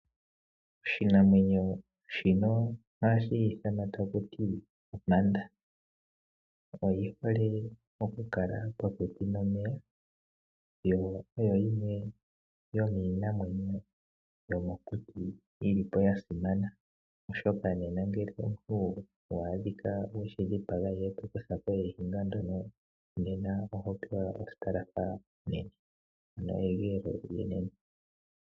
Oshinamwenyo shino ohashi ithanwa taku ti ompanda. Oyi hole okukala popepi nomeya, yo oyo yimwe yomiinamwenyo yomokuti yi li po ya simana, oshoka ngele omuntu owa adhika we shi dhipaga e to kutha ko oniga ndjono, nena oho pewa egeelo.